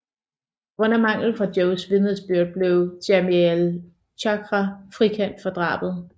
På grund af mangel fra Joes vidnesbyrd blev Jamiel Chagra frikendt for drabet